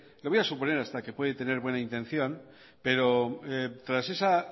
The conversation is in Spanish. le voy a suponer hasta que usted puede tener buena intención pero tras esa